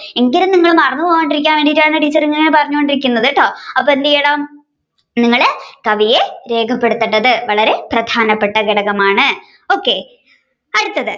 എങ്കിലും നമ്മൾ മറന്നുപോകാണ്ടിരിക്കാൻ വേണ്ടിയാണ് ടീച്ചർ ഇങ്ങനെ പറഞ്ഞുകൊണ്ടിരിക്കുന്നത് കേട്ടോ അപ്പൊ എന്ത്ചെയ്യണം നിങ്ങൾ കവിയെ രേഖപ്പെടുത്തേണ്ടത് വളരെ പ്രധാനപ്പെട്ട കടകമാണ്. okay അടുത്തത്